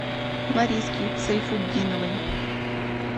лариски сайфутдиновой